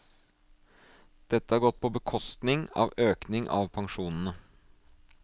Dette har gått på bekostning av økning av pensjonene.